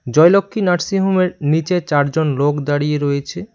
জয়লক্ষ্মী নার্সিংহোমের নীচে চারজন লোক দাঁড়িয়ে রয়েছে।